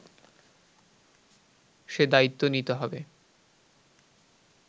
সে দায়িত্ব নিতে হবে